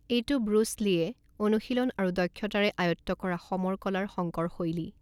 এইটো Bruce Lee অনুশীলন আৰু দক্ষতাৰে আয়ত্ত কৰা সমৰ কলাৰ সংকৰ শৈলী।